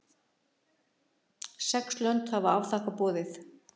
Sex lönd hafa afþakkað boðið